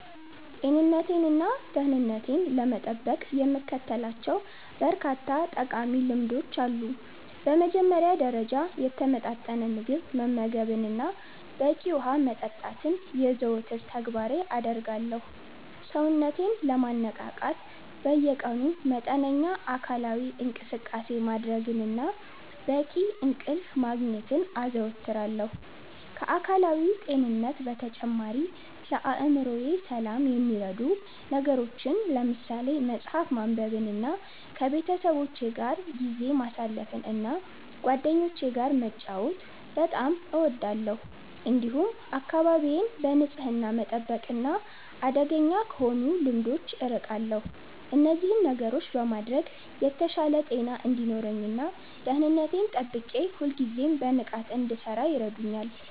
ጤንነቴንና ደህንነቴን ለመጠበቅ የምከተላቸው በርካታ ጠቃሚ ልምዶች አሉ። በመጀመሪያ ደረጃ፣ የተመጣጠነ ምግብ መመገብንና በቂ ውሃ መጠጣትን የዘወትር ተግባሬ አደርጋለሁ። ሰውነቴን ለማነቃቃት በየቀኑ መጠነኛ አካላዊ እንቅስቃሴ ማድረግንና በቂ እንቅልፍ ማግኘትን አዘወትራለሁ። ከአካላዊ ጤንነት በተጨማሪ፣ ለአእምሮዬ ሰላም የሚረዱ ነገሮችን ለምሳሌ መጽሐፍ ማንበብንና ከቤተሰቦቼ ጋር ጊዜ ማሳለፍን እና ጓደኞቼ ጋር መጫወት በጣም እወዳለሁ። እንዲሁም አካባቢዬን በንጽህና መጠበቅና አደገኛ ከሆኑ ልምዶች አርቃለሁ። እነዚህን ነገሮች በማድረግ የተሻለ ጤና እንዲኖረኝ እና ደህንነቴን ጠብቄ ሁልጊዜም በንቃት እንድሠራ ይረዱኛል።